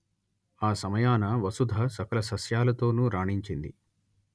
ఆ సమయాన వసుధ సకల సస్యాలతోనూ రాణించింది